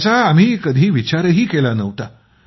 ज्याचा आम्ही कधी विचारही केला नव्हता